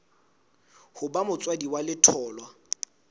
ho ba motswadi wa letholwa